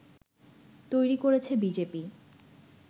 তৈরি করেছে বিজেপি